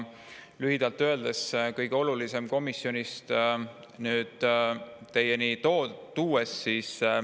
Toon teieni kõige olulisema.